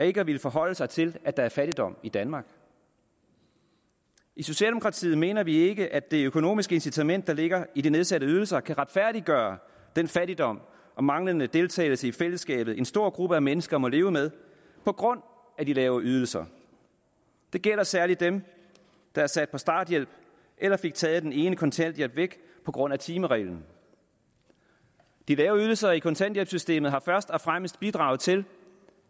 ikke at ville forholde sig til at der er fattigdom i danmark i socialdemokratiet mener vi ikke at det økonomiske incitament der ligger i de nedsatte ydelser kan retfærdiggøre den fattigdom og manglende deltagelse i fællesskabet som en stor gruppe mennesker må leve med på grund af de lave ydelser det gælder særlig dem der er sat på starthjælp eller fik taget den ene kontanthjælp væk på grund af timereglen de lave ydelser i kontanthjælpssystemet har først og fremmest bidraget til